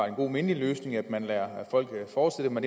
en god mindelig løsning at man lader folk fortsætte med